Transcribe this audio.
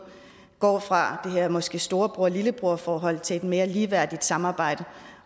går fra det her måske storebror lillebror forhold til et mere ligeværdigt samarbejde